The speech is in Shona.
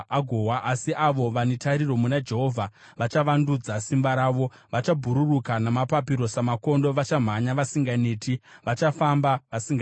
asi avo vane tariro muna Jehovha vachavandudza simba ravo. Vachabhururuka namapapiro samakondo; vachamhanya vasinganeti; vachafamba vasingaziyi.